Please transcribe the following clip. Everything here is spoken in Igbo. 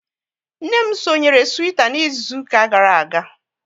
Nne m sonyere Twitter n'izuka gara aga